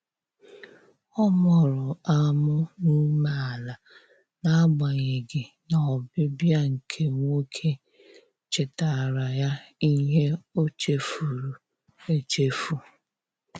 Ọ mụrụ amụ n'umeala na agbanyeghị na ọbịbịa nke nwoke chetara ya ihe ochefuru echefu.